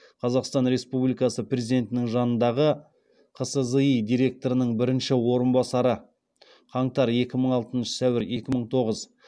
қазақстан республикасы президентінің жанындағы қсзи директорының бірінші орынбасары